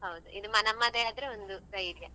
ಹೌದು ಇದು ನಮ್ಮದೇ ಆದ್ರೆ ಒಂದು ಧೈರ್ಯ.